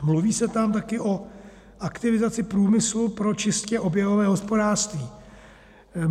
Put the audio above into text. Mluví se tam taky o aktivizaci průmyslu pro čistě oběhové hospodářství.